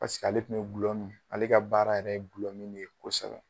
Pasek'ale tun bɛ gulɔ min ale ka baara yɛrɛ ye gulɔmin de ye kosɛbɛ.